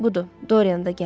Budur, Doryan da gəldi.